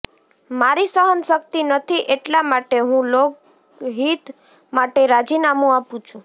મારી સહનશક્તિ નથી એટલા માટે હું લોકહિત માટે રાજીનામું આપું છું